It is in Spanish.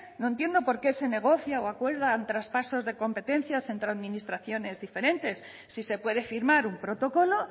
no entiende por qué se negocia o acuerdan traspasos de competencias entre administraciones diferentes si se puede firmar un protocolo